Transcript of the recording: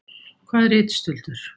Hvað er ritstuldur?